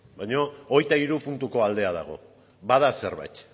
baina hogeita hiru puntuko aldea dago bada zerbait